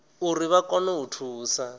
uri vha kone u thusa